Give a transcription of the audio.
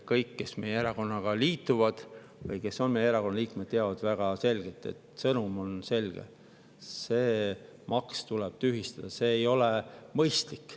Kõik, kes meie erakonnaga liituvad või kes on meie erakonna liikmed, teavad, et sõnum on selge: see maks tuleb tühistada, see ei ole mõistlik.